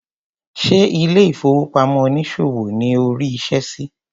Ṣé ilé ìfowópamọ́ onísòwò ni o rí iṣẹ́ sí?